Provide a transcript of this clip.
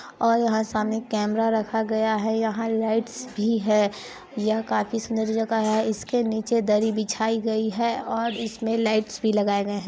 और यहाँ सामने कैमरा रखा गया हैं यहाँ लाइट्स भी हैं यहाँ काफी सूंदर जगह हैं इसके नीचे दरी बिछाई गई हैं और इस मे लाइट्स भी लगाए गए हैं।